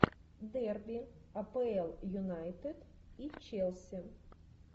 дерби апл юнайтед и челси